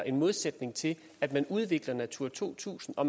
i modsætning til at udvikle natura to tusind og